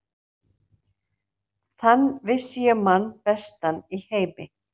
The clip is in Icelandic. Þann vissi ég mann bestan í heimi.